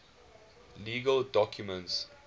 legal documents